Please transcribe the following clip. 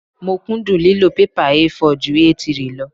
Mo kúndùn lílo pẹ́pà A4 ju A3 lọ.